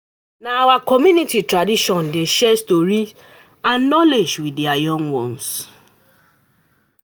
Na our community tradition to share stories and knowledge wit di young ones.